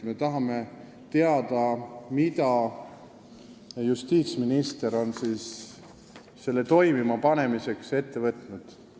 Me tahame teada, mida justiitsminister on selle toimima panemiseks ette võtnud.